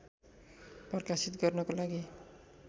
प्रकाशित गर्नको लागि